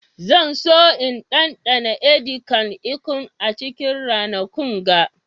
Zan so in daɗan " edi kan ikong" a cikin ranakun ga.